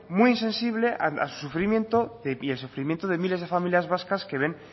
muy insensible al sufrimiento de miles de familias vascas que ven